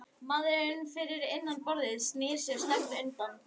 Maðurinn fyrir innan borðið snýr sér snöggt undan.